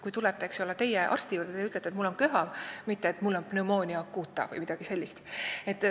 Kui teie tulete arsti juurde, siis te ütlete ka, et mul on köha, mitte et mul on pneumonia acuta vms.